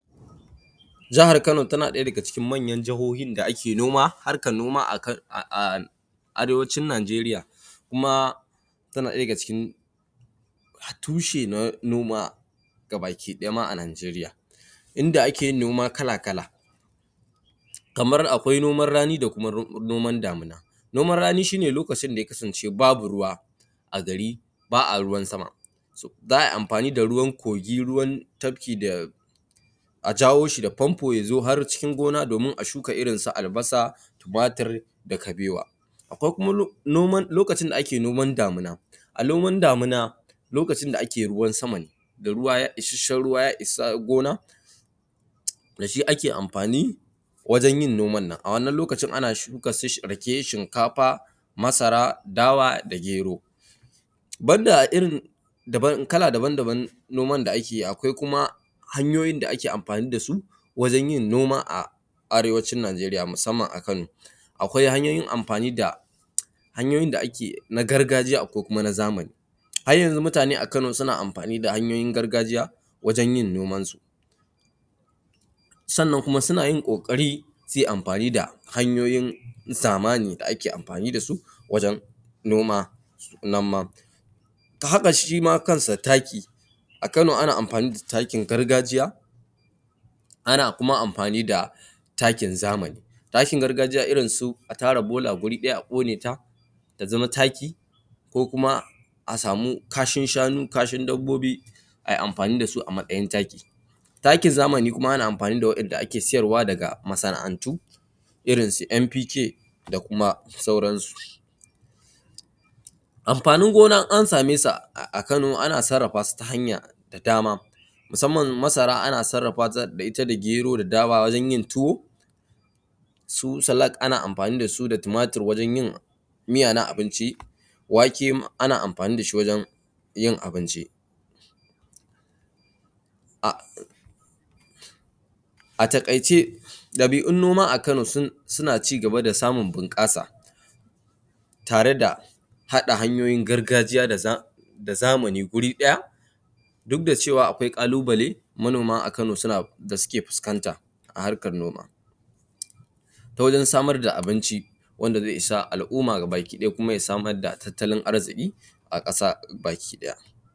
Jihar Kano tana ɗaya daga cikin manyan jihohin da ake noma harkan noma a ka a a arewacin Najeriya kuma tana ɗaya daga cikin tushe na noma gabaki ɗaya ma a Najeriya inda ake yin noma kala kala kamar akwai noman rani da kuma noman damina, noman rani shi ne lokacin da ya kasance babu ruwa a gari ba aruwan sama za ai amfani da ruwan kogi, ruwan tabki da a jawo shi da famfo ya zo har cikin gona domin a shuka irin su albasa, timatir, da kabewa, ko kuma nom lokacin da ake noman damina a noman damina lokacin da ake ruwan sama ne da ruwa ishashshen ruwa ya isa gona da shi ake amfani wajen yin noman nan a wannan lokacin ana shuka su rake, shinkafa, masara, dawa da gero, banda irin daban kala daban daban noman da ake yi akwai kuma hanyoyin da ake amfani da su wajen yin noma a arewacin Najeriya musamman a Kano, akwai hanyoyin amfani da hanyoyin da ake na gargajiya akwai kuma na zamani, har yanzu mutane a Kano suna amfani da hamyoyin gargajiya wajen yin noman su, sannan kuma suna yin ƙoƙari suyi amfani da hanyoyin zamani da ake amfani da su wajen noma nan ma ta haka shi ma kansa taki, a Kano ana amfani da takin gargajiya ana kuma amfani da takin zamani, takin gargajiya irin su a tara bola guri ɗaya a ƙone ta ta zama taki ko kuma a samu kashin shanu, kashin dabbobi ai amfani da su a matsayin taki, takin zamani kuma ana amfani da waɗanda ake sayar daga masana`antu irin su NPK da kuma sauransu, amfanin gona in an same sa a Kano ana sarrafa su ta hanya da dama musamman masara ana sarrafa ta da ita da gero, dawa wajen yin tuwo, su salat ana amfani da su da timatir wajen yin miya na abinci, wake ana amfani da shi wajenyin abinci, a a taƙaice ɗabi`un noma a Kano sun suna cigaba da samun bun ƙasa tare da haɗa hanyoyin gargajiya da da zamani guri ɗaya duk da cewa akwai ƙalubale manoma a Kano suna da suke fuskanta a harkan noma ta wajen samar da abinci wanda zai isa al`umma gabaki ɗaya kuma ya samar da tattalin arziki a ƙasa baki ɗaya.